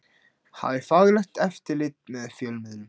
Hafi faglegt eftirlit með fjölmiðlum